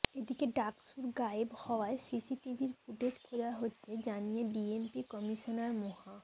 এদিকে ডাকসুর গায়েব হওয়া সিসিটিভির ফুটেজ খোঁজা হচ্ছে জানিয়ে ডিএমপি কমিশনার মোহা